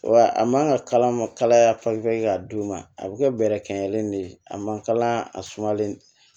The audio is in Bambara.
Wa a man ka kala ma kalaya ka d'u ma a bɛ kɛ bɛrɛ kɛ ɲɛlen de ye a man kalan a sumalen